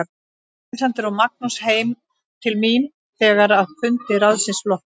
Alexander og Magnús heim til mín þegar að fundi ráðsins loknum.